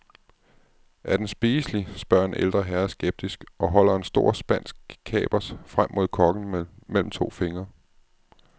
Er den spiselig, spørger en ældre herre skeptisk og holder en stor spansk kapers frem mod kokken mellem to fingre.